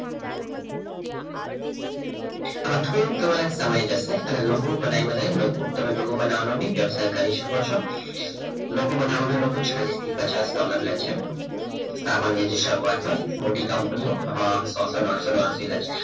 આમાં થોડો તમારો સમય જશે તમે logo બનાવ્યો અને તમે logo બનાવવાનો પણ વ્યવસાય કરી શકો છો logo બનાવવાના લોકો ચાલીસ થી પચાસ ડોલર લે છે સામાન્ય જે શરૂઆત હોય મોટી કંપનીઓ